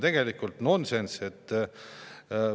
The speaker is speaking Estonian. Tegelikult on see nonsenss.